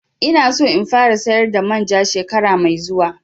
Ina so in fara sayar da manja shekara mai zuwa